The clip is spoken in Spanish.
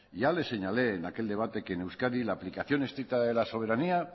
ya le señalé en aquel debate que en euskadi la aplicación estricta de la soberanía